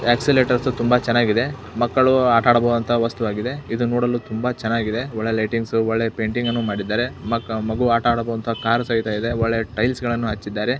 Oscillators ತುಂಬಾ ಚನ್ನಾಗಿದೆ ಮಕ್ಕಳು ಆಟ ಆಡಬಹುದಾದಂತಹ ವಸ್ತು ಆಗಿದೆ ಇದು ನೋಡಲು ತುಂಬಾ ಚನ್ನಾಗಿದೆ ಒಳ್ಳೆ ಲೈಟಿಂಗ್ಸ್ ಒಳ್ಳೆ ಪೇಂಟಿಂಗ್ ಮಾಡಿದ್ದಾರೆ ಮಕ್ಕ ಮಗು ಆಟ ಆಡುವಂತ ಕಾರ್ ಸಹಿತ ಇದೆ ಒಳ್ಳೆ ಟೈಲ್ಸ್ ಗಳನ್ನು ಸಹ ಹಚ್ಚಿದ್ದಾರೆ .